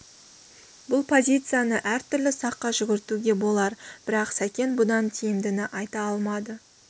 бұл позицияны әр түрлі саққа жүгіртуге болар бірақ сәкен бұдан тиімдіні айта алмады